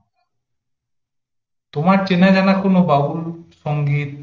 তোমার চেনাজানা কোন বাউল সংগীত